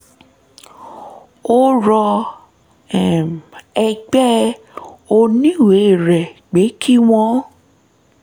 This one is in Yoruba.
ó rọ um ẹgbẹ́ oníwèé rẹ̀ pé kí wọ́n